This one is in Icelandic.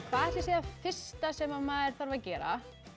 hvað ætli sé það fyrsta sem maður þarf að gera